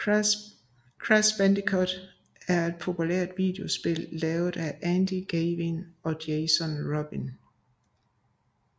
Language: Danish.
Crash Bandicoot er et populært videospil lavet af Andy Gavin og Jason Rubin